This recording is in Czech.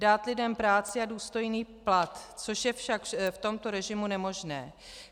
Dát lidem práci a důstojný plat, což je však v tomto režimu nemožné.